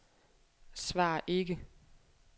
svar ikke